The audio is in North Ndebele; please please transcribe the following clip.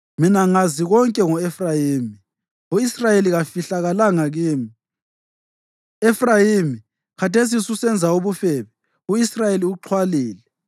Mina ngazi konke ngo-Efrayimi; u-Israyeli kafihlakalanga kimi. Efrayimi, khathesi ususenza ubufebe; u-Israyeli uxhwalile.